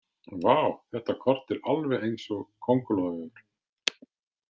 Vá, þetta kort er alveg eins og kóngulóarvefur